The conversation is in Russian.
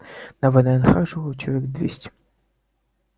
на вднх жило человек двести